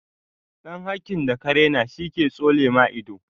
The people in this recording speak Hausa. Ɗan hakkin da ka rena shi ke tsole ma ido